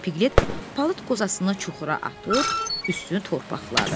Piqlet palıd qozasını çuxura atıb üstünü torpaqladı.